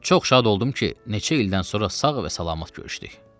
Çox şad oldum ki, neçə ildən sonra sağ və salamat görüşdük.